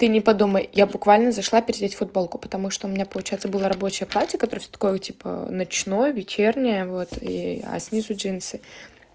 ты не подумай я буквально зашла переодеть футболку потому что у меня получается было рабочее платье которая всё такого типа ночной вечерняя вот и а с низу джинсы